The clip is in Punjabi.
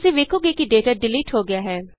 ਤੁਸੀਂ ਵੇਖੋਗੇ ਕਿ ਡੇਟਾ ਡਿਲੀਟ ਹੋ ਗਿਆ ਹੈ